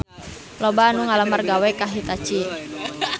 Loba anu ngalamar gawe ka Hitachi